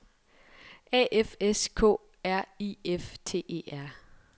A F S K R I F T E R